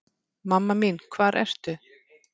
Mamma mín hvar ertu?